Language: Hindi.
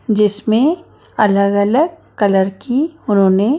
जिसमें अलग अलग कलर की उन्होंने--